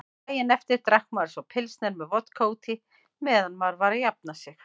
Daginn eftir drakk maður svo pilsner með vodka útí meðan maður var að jafna sig.